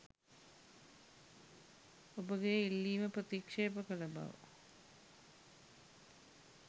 ඔබගේ ඉල්ලීම ප්‍රතික්ෂේප කල බව